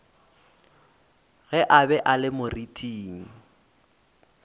a be a le moriting